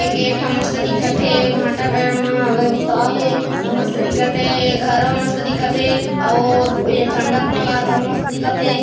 ए gate ह मस्त दिखत हे भाटा घर म हे औ मस्त दिखत हे औ झण्डा टँगाए हे तहु मस्त दिखत हे।